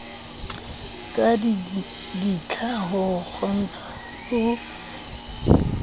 ka ditlha ho kgontsha ho